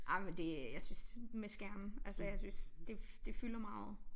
Ej men det jeg synes med skærme altså jeg synes det det fylder meget